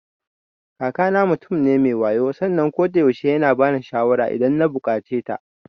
Kakana mutum ne me wayo sannan kodayaushe yana bani shawara idan na buƙaceta.